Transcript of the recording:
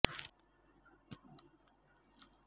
ఒక MBBS doctor degree లేని doctor ఒకరు ఉన్నారు